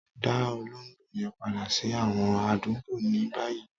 Dá òlògbò yẹn padà sí àwọn aládùgbọ̀ ní báyì